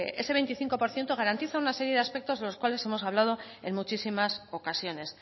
ese veinticinco por ciento garantiza una serie de aspectos de los cuales hemos hablado en muchísimas ocasiones